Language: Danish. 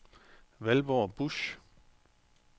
Valborg Busch